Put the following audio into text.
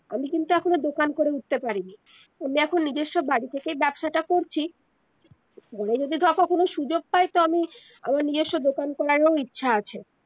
আমি কিন্তু এখনো দোকান করে উঠতে পারিনি আমি এখন নিজেস্ব বাড়ি থেকে ব্যবসাটা করছি পরে যদি ধর কখনো সুযোগ পাই তবে আমার নিজেস্ব দোকান করার ও ইচ্ছা আছে